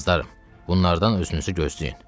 Qızlarım, bunlardan özünüzü gözləyin.